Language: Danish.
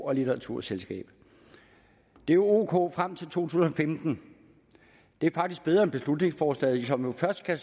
og litteraturselskab det er ok frem til to tusind og femten det er faktisk bedre end beslutningsforslaget som jo først kan